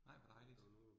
Nej, hvor dejligt